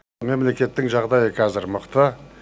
мемлекеттің жағдайы қазір мықты